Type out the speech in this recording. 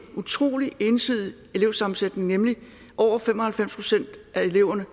utrolig ensidig elevsammensætning nemlig at over fem og halvfems procent af eleverne